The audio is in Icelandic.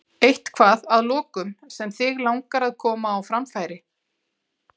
Eitthvað að lokum sem þig langar að koma á framfæri?